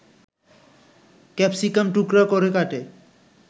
capsicum টুকরা করে কেটে